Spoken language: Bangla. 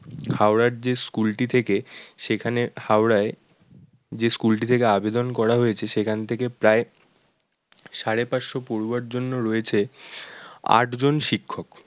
হাওড়ার যে school টি থেকে সেখানে হাওড়ায় যে school টি থেকে আবেদন করা হয়েছে সেখান থেকে প্রায় সাড়ে পাঁচশো পড়ুয়ার জন্য রয়েছে আটজন শিক্ষক